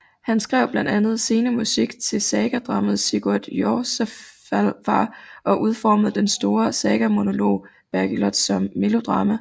Han skrev blandt andet scenemusik til sagadramaet Sigurd Jorsalfar og udformede den store sagamonolog Bergliot som melodrama